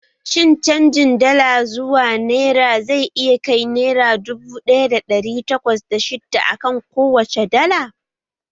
Shin canjin Dala zuwa nera zai iya kai naira dubu ɗaya da ɗari takwas da shidda akan kowacce dala?